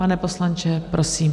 Pane poslanče, prosím.